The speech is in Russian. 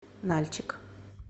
нальчик